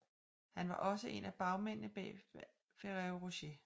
Han var også en af bagmændene bag Ferrero Rocher